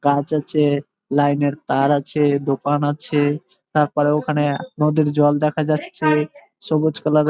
গাছ আছে লাইন এর তার আছে দোকান আছে তারপরে ওখানে আ নদীর জল দেখা যাচ্ছে সবুজ কালার --